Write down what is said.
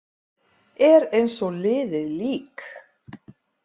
Er eins og liðið lík.